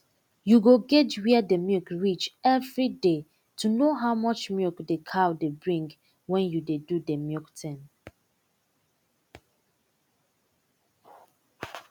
u go guage were d milk reach every day to know how much milk d cow dey bring wen u dey do de milk tin